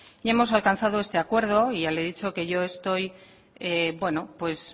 y hemos alcanzado este acuerdo ya le dicho que yo estoy